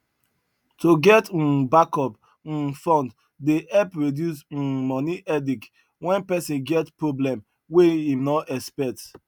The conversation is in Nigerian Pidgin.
to get um backup um fund dey help reduce um money headache when person get problem wey him no expect